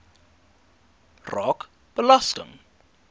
raak belasting